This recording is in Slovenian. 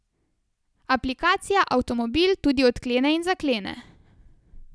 Aplikacija avtomobil tudi odklene in zaklene.